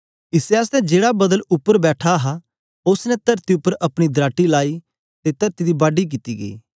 इसै आसतै जेड़ा बदल उपर बैठा हा उस्स ने तरती उपर अपनी दराटी लाइ ते तरती दी बड़ने कित्ती गई